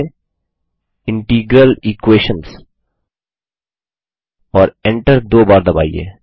लिखिए integral Equations और enter दो बार दबाइए